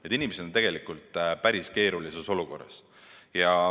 Need inimesed on tegelikult päris keerulises olukorras.